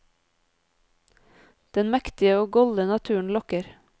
Den mektige og golde naturen lokker.